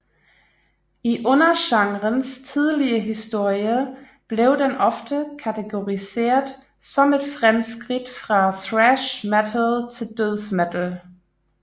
I undergenrens tidlige historie blev den ofte kategoriseret som et fremskridt fra thrash metal til dødsmetal